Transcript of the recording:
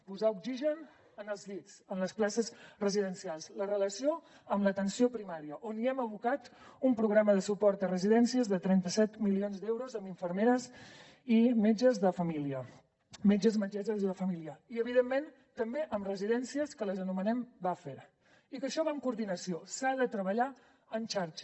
posar oxigen en els llits en les places residencials la relació amb l’atenció primària on hi hem abocat un programa de suport a residències de trenta set milions d’euros amb infermeres i metges de família metges i metgesses de família i evidentment també amb residències que les anomenem bufferamb coordinació s’ha de treballar en xarxa